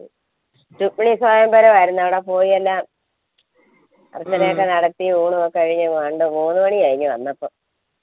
ചുപ്പ്ളി സ്വയംവരം ആയിരുന്നു അവിട പോയി എന്ന അങ്ങനയൊക്കെ നടത്തി ഊണ് ഒക്കെ കഴിഞ്ഞ് രണ്ട് മൂന്ന് മണി കഴിഞ്ഞ് വന്നപ്പൊ